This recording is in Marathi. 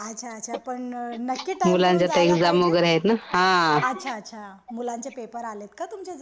अच्छा अच्छा. नक्की पण नक्की टाइम काढून जायला पाहिजे. अच्छा अच्छा मुलांचे पेपर आलेत का तुमच्या जवळ.